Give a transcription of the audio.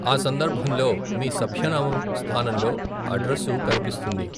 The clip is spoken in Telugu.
ఆ సందర్భంలో మీ సభ్యనామం స్థానంలో అడ్రసు కనిపిస్తుంది.